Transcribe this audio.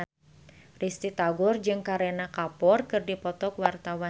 Risty Tagor jeung Kareena Kapoor keur dipoto ku wartawan